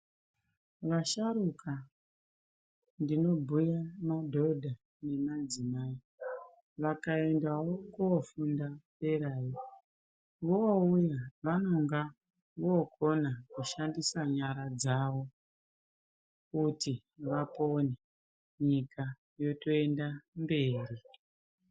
Vasharuka ndinobhuya madhodha nemadzimai vakaendawo kofunda derayo vouya vanonga vokona kushandisa nyara dzavo kuti vapone nyika yotoenda mberi.